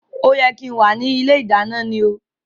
O yẹ kí n wá ní ilé ìdáná ni o